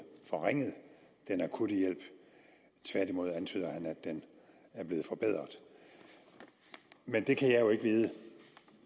forringet den akutte hjælp tværtimod antyder han at den er blevet forbedret men det kan jeg jo ikke vide